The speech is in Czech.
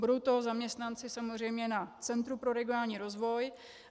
Budou to zaměstnanci samozřejmě na Centru pro regionální rozvoj.